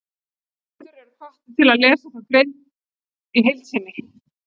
Lesendur eru hvattir til að lesa þá grein í heild sinni.